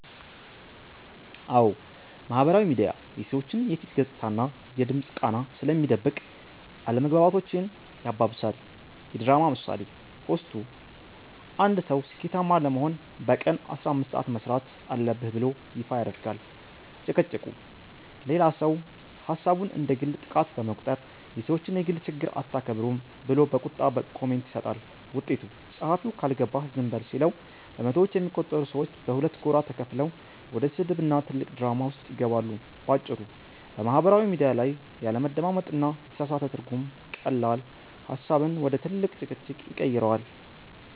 አዎ፣ ማህበራዊ ሚዲያ የሰዎችን የፊት ገጽታና የድምፅ ቃና ስለሚደብቅ አለመግባባቶችን ያባብሳል። የድራማ ምሳሌ፦ ፖስቱ፦ አንድ ሰው "ስኬታማ ለመሆን በቀን 15 ሰዓት መሥራት አለብህ" ብሎ ይፋ ያደርጋል። ጭቅጭቁ፦ ሌላው ሰው ሐሳቡን እንደ ግል ጥቃት በመቁጠር "የሰዎችን የግል ችግር አታከብሩም" ብሎ በቁጣ ኮሜንት ይሰጣል። ውጤቱ፦ ጸሐፊው "ካልገባህ ዝም በል" ሲለው፣ በመቶዎች የሚቆጠሩ ሰዎች በሁለት ጎራ ተከፍለው ወደ ስድብና ትልቅ ድራማ ውስጥ ይገባሉ። ባጭሩ፤ በማህበራዊ ሚዲያ ላይ ያለመደማመጥና የተሳሳተ ትርጉም ቀላል ሐሳብን ወደ ትልቅ ጭቅጭቅ ይቀይረዋል።